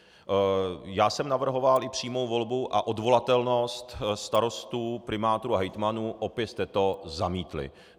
Já jsem navrhoval i přímou volbu a odvolatelnost starostů, primátorů a hejtmanů, opět jste to zamítli.